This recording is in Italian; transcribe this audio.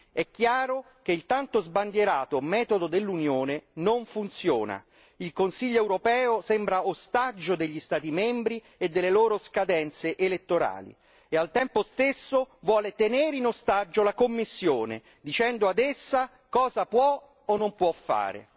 È chiaro che il tanto sbandierato metodo dell'Unione non funziona, il Consiglio europeo sembra ostaggio degli Stati membri e delle loro scadenze elettorali, e al tempo stesso vuole tenere in ostaggio la Commissione dicendo ad essa cosa può o non può fare.